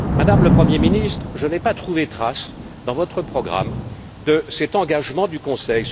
Madame la Première ministre, je n'ai pas trouvé trace dans votre programme de cet engagement du Conseil.